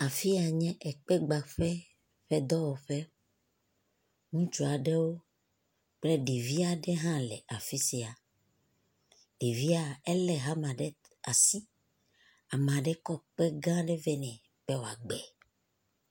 Afi ya nye ekpegbaƒe ƒe dɔwɔƒe, ŋutsu aɖewo kple ɖevi aɖe le afi sia, eɖvia, elé hama ɖe asi, ame aɖe kɔ kpe gã aɖe vɛ nɛ be wògbɛ.